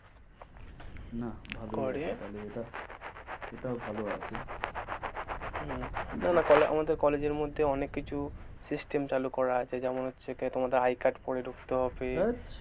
ভালই এটাও ভালই আছে হম না না আমাদের college এর মধ্যে অনেক কিছু system চালু করা আছে যেমন হচ্ছে কি তোমাদের I card পড়ে ঢুকতে হবে, আচ্ছা